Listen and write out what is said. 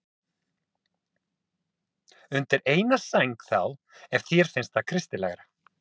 Undir eina sæng þá, ef þér finnst það kristilegra.